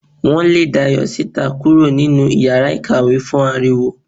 Wo lè Dayo sítá kúrò nínú iyàrá ìkàwé fún aríwó